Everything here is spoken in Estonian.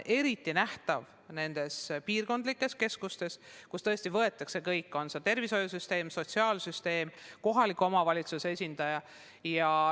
Eriti nähtav on see piirkondlikes keskustes, kus tõesti annavad oma panuse kõik: tervishoiusüsteem, sotsiaalsüsteem, kohaliku omavalitsuse esindajad.